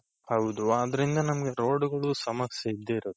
ಹೌದು ಆದ್ರಿಂದ ನಮ್ಗೆ roadಗಳು ಸಮಸ್ಯೆ ಇದ್ದೆ ಇರುತ್ತೆ.